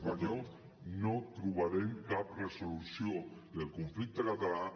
espanyol no trobarem cap resolució del conflicte català